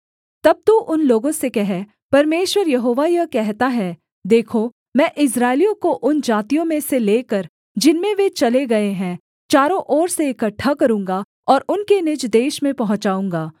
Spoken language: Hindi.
तब तू उन लोगों से कह परमेश्वर यहोवा यह कहता है देखो मैं इस्राएलियों को उन जातियों में से लेकर जिनमें वे चले गए हैं चारों ओर से इकट्ठा करूँगा और उनके निज देश में पहुँचाऊँगा